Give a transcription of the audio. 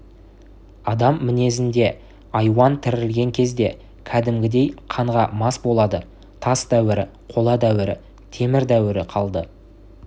адам мінезінде айуан тірілген кезде кәдімгідей қанға мас болады тас дәуірі қола дәуірі темір дәуірі қалды